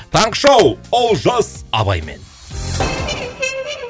таңғы шоу олжас абаймен